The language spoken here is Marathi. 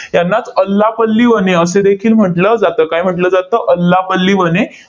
त्यांनाच अल्लापल्ली वने असंदेखील म्हंटल जातं. काय म्हंटल जातं? अल्लापल्ली वने